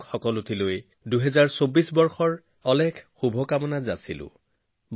দীপাৱলীৰ অভিলেখ পৰিমাণ সামগ্ৰী বিক্ৰীয়ে প্ৰমাণ কৰিলে যে প্ৰতিজন ভাৰতীয়ই ভোকেল ফৰ লোকেল মন্ত্ৰক মূল্য দিয়ে